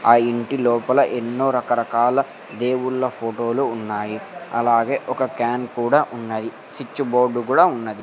ఆ ఇంటి లోపల ఎన్నో రకరకాల దేవుళ్ళ ఫోటోలు ఉన్నాయి అలాగే ఒక క్యాన్ కూడా ఉన్నది సిచ్ బోర్డు కూడా ఉన్నది.